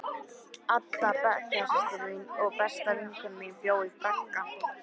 Adda, bekkjarsystir mín og besta vinkona, bjó í bragga.